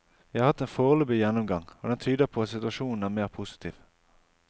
Vi har hatt en foreløpig gjennomgang, og den tyder på at situasjonen er mer positiv.